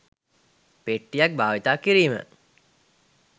පෙට්ටියක් භාවිතා කිරීම